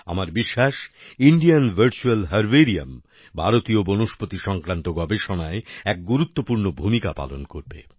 আমার বিশ্বাস Indian virtual herbarium ভারতীয় বনস্পতি সংক্রান্ত গবেষণায় এক গুরুত্বপূর্ণ ভূমিকা পালন করবে